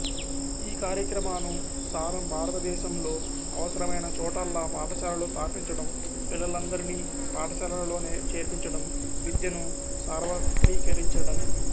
ఈ కార్యక్రమాను సారం భారతదేశంలో అవసరమైన చోటల్లా పాఠశాలలు స్థాపించడం పిల్లలందరినీ పాఠశాలలలో చేర్పించడం విద్యను సార్వత్రీకరించడం